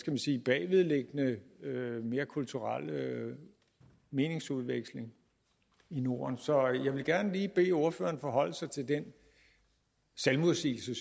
man sige bagvedliggende mere kulturelle meningsudveksling i norden så jeg vil gerne lige bede ordføreren forholde sig til den selvmodsigelse